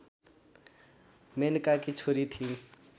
मेनकाकी छोरी थिइन्